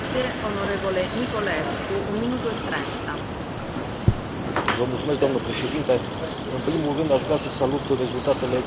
În primul rând, aș vrea să salut rezultatele excelente ale întâlnirii de marți, de la Clonakility, între reprezentanții statelor membre.